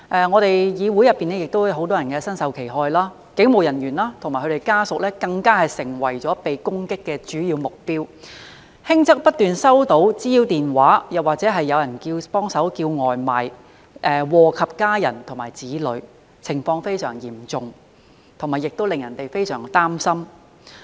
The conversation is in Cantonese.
我們議會內亦有很多人身受其害，警務人員及其家屬更成為被攻擊的主要目標，輕則不斷收到滋擾電話，或是有人"幫忙叫外賣"，禍及家人和子女，情況非常嚴重，亦令人感到非常擔心。